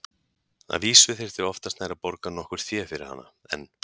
Að vísu þyrfti oftast nær að borga nokkurt fé fyrir hana, en